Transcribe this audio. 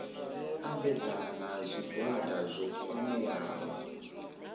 ambedzana na zwigwada zwo kwameaho